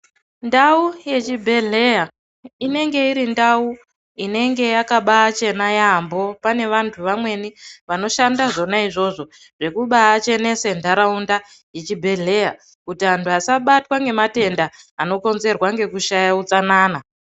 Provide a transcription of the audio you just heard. Ndau yechibhedhleya inenge iri ndau inenge yakabachena yaambo. Pane vantu vamweni vanoshanda zvona izvozvo zvekuba chenese nharaunda yechibhedhleya. Kuti antu asabatwa ngematenda anokonzerwa ngekushaya utsanana.